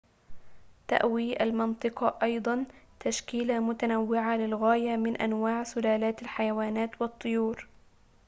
تأوي المنطقة أيضاً تشكيلة متنوعة للغاية من انواع سلالات الحيوانات والطيور